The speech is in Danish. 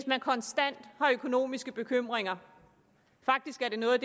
man konstant har økonomiske bekymringer faktisk er noget af